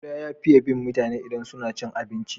Kuda ya fiye bin mutane idan suna cin abinci.